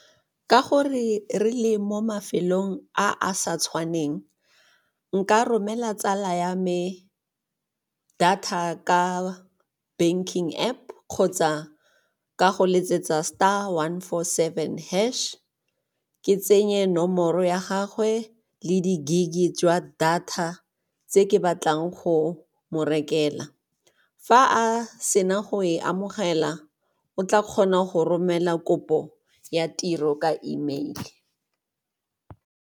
Ka gore re le mo mafelong a a sa tshwaneng, nka romela tsala ya me data ka banking App kgotsa ka go letsetsa star one four seven hash, ke tsenye nomoro ya gagwe le di-gig-e jwa data tse ke batlang go mo rekela. Fa a sena go e amogela o tla kgona go romela kopo ya tiro ka E mail.